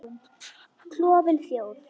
Klofin þjóð.